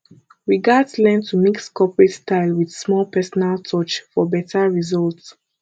we gats learn to mix corporate style with small personal touch for beta result